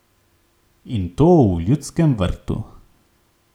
In to v Ljudskem vrtu.